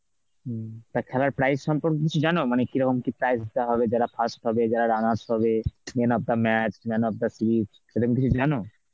হম, তা খেলার prize সম্পর্কে কিছু জানো, মানে কিরকম কি prize পাবে যারা first হবে, যারা runners হবে, man of the match, man of the series সেরম কিছু জানো?